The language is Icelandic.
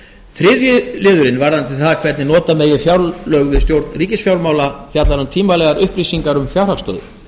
þriðji liður varðandi það hvernig nota megi fjárlög við stjórn ríkisfjármála fjallar um tímanlegar upplýsingar um fjárhagsstöðu